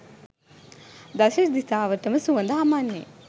දස දිශාවටම සුවඳ හමන්නේ